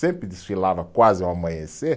Sempre desfilava quase ao amanhecer.